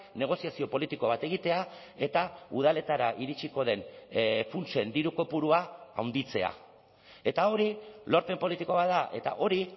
negoziazio politiko bat egitea eta udaletara iritsiko den funtsen diru kopurua handitzea eta hori lorpen politiko bat da eta hori